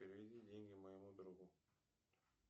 переведи деньги моему другу